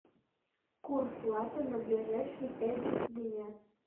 курс лата на ближайшие пять дня